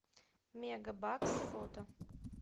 мегабакс фото